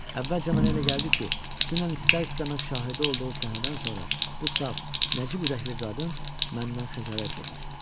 Əvvəlcə mənə elə gəldi ki, dünən istər-istəməz şahidi olduğu səhnədən sonra bu saf, nəcib ürəkli qadın məndən xəcalət çəkir.